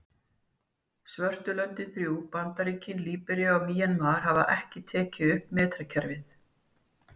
Svörtu löndin þrjú, Bandaríkin, Líbería og Mjanmar hafa ekki tekið upp metrakerfið.